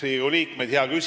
Riigikogu liikmed!